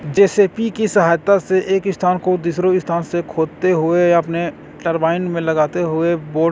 जे. C. B. की सहायता से एक स्थान को दिसरो स्थान से खोद ते हुए अपने टरबाइन में लगते हुए बो--